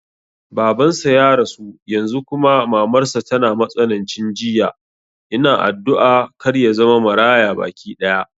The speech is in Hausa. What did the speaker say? Baban sa ya rasu yanzu kuma mamar sa tana matsanancin jinya, ina addu'a kar yazama Maraya baki ɗaya